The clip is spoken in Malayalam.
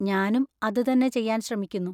ഞാനും അത് തന്നെ ചെയ്യാൻ ശ്രമിക്കുന്നു.